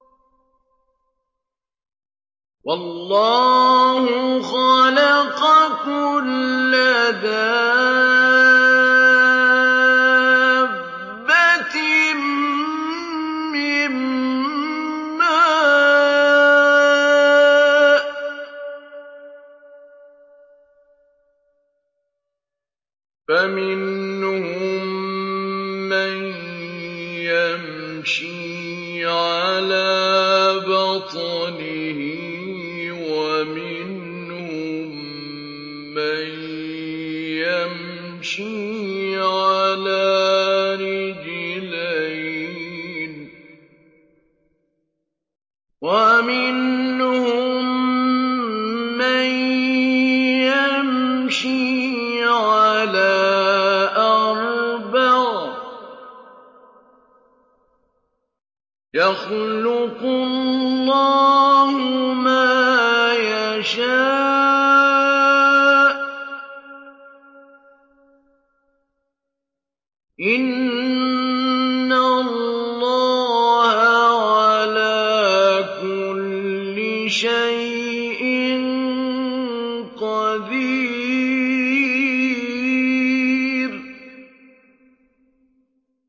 وَاللَّهُ خَلَقَ كُلَّ دَابَّةٍ مِّن مَّاءٍ ۖ فَمِنْهُم مَّن يَمْشِي عَلَىٰ بَطْنِهِ وَمِنْهُم مَّن يَمْشِي عَلَىٰ رِجْلَيْنِ وَمِنْهُم مَّن يَمْشِي عَلَىٰ أَرْبَعٍ ۚ يَخْلُقُ اللَّهُ مَا يَشَاءُ ۚ إِنَّ اللَّهَ عَلَىٰ كُلِّ شَيْءٍ قَدِيرٌ